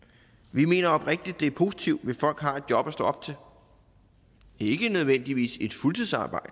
vi mener oprigtigt at det er positivt hvis folk har et job at stå op til ikke nødvendigvis et fuldtidsarbejde